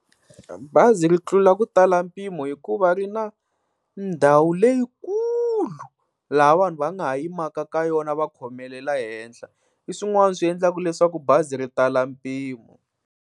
Bazi ri tlula ku tala mpimo hikuva ri na ndhawu leyikulu laha vanhu va nga ha yimaka ka yona va khomelela henhla. Hi swin'wana swi endlaka leswaku bazi ri tala mpimo.